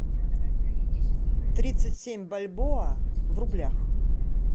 тридцать семь бальбоа в рублях